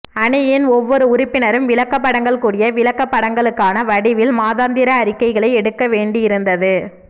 அணியின் ஒவ்வொரு உறுப்பினரும் விளக்கப்படங்கள் கூடிய விளக்கப்படங்களுக்கான வடிவில் மாதாந்திர அறிக்கைகளைப் எடுக்க வேண்டியிருந்தது